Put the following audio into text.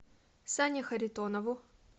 сане харитонову